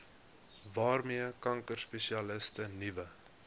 waarmee kankerspesialiste nuwe